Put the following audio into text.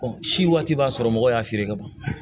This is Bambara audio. si waati b'a sɔrɔ mɔgɔw y'a feere ka ban